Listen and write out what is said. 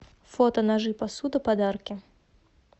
фото ножи посуда подарки